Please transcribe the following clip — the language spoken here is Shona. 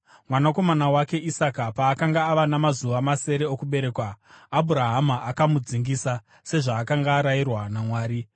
Mwanakomana wake Isaka paakanga ava namazuva masere okuberekwa, Abhurahama akamudzingisa, sezvaakanga arayirwa naMwari.